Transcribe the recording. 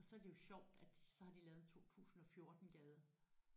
Og så er det jo sjovt at så har de lavet 2014 gade